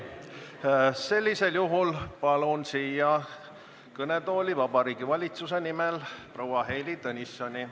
Sellisel juhul palun kõnetooli Vabariigi Valitsuse nimel proua Heili Tõnissoni.